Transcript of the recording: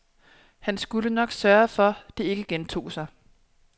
Han skulle nok sørge for, det ikke gentog sig.